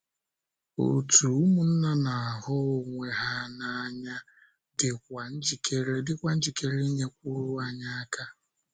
Òtù ụmụnna na - ahụ onwe ha n’anya dịkwa njikere inyekwuru anyị aka.